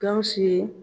Gawusu ye